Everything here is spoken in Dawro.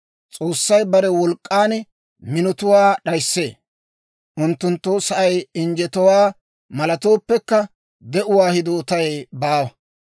«S'oossay bare wolk'k'an minotuwaa d'ayissee; unttunttoo sa'ay injjetowaa malattooppekka de'uwaa hidootay baawa.